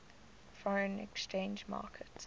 foreign exchange market